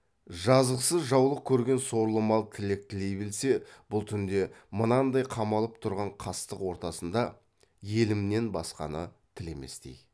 жазықсыз жаулық көрген сорлы мал тілек тілей білсе бұл түнде мынандай қамалып тұрған қастық ортасында елімнен басқаны тілеместей